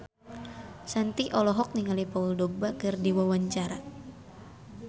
Shanti olohok ningali Paul Dogba keur diwawancara